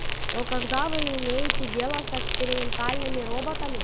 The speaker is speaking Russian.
но когда вы имеете дело с экспериментальными роботами